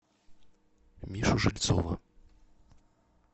мишу жильцова